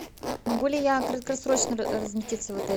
могу ли я краткосрочно разместиться в отеле